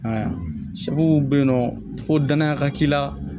sɛw bɛ yen nɔ fo danaya ka k'i la